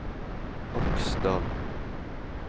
Aksdal